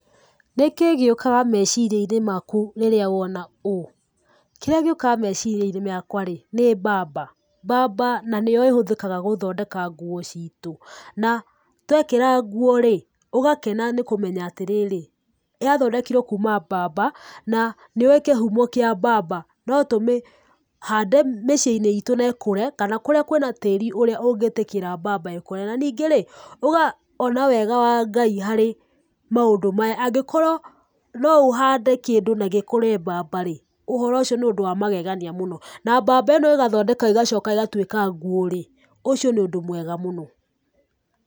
Nĩkĩĩ gĩũkaga meciria-inĩ maku rĩrĩa wona ũũ? Kĩrĩa gĩũkaga meciria-inĩ makwa rĩĩ nĩ mbamba. Mbamba na nĩyo ĩhũthĩkaga gũthondeka nguo citũ na twekĩra nguo rĩĩ ũgakena nĩ kũmenya atĩ rĩrĩ yathondekirwo kuuma mbamba na nĩũũĩ kĩhumo kĩa mbamba no tũmĩhande mĩcii-inĩ itũ na ikũre kana kũrĩa kwĩna tĩĩri ũrĩa ũngĩtĩkĩra mbamba ikũre na ningĩ rĩĩ uga ona wega wa Ngai kũrĩ maũndũ maya angĩkoruo no ũhande kĩndũ na gĩkũre mbamba rĩĩ, ũhoro ũcio nĩ ũndũ wa magegania mũno na mbamba ĩno ĩgathondeka ĩgacoka ĩgatuĩka nguo rĩĩ, ũcio nĩ ũndũ mwega mũno.